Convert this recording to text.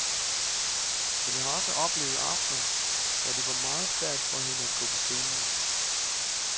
Men jeg har også oplevet aftener, hvor det var meget svært for hende at gå på scenen.